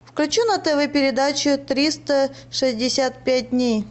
включи на тв передачу триста шестьдесят пять дней